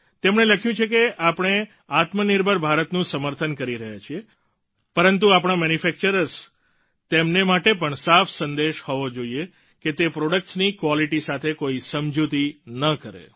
તેમણે લખ્યું છે કે આપણે આત્મનિર્ભર ભારતનું સમર્થન કરી રહ્યા છીએ પરંતુ આપણા મેન્યુફેક્ચર્સ તેમને માટે પણ સાફ સંદેશ હોવો જોઈએ કે તે પ્રોડક્ટ્સ ની ક્વાલિટી સાથે કોઈ સમજૂતી ન કરે